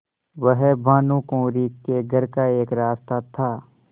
वह भानुकुँवरि के घर का एक रास्ता था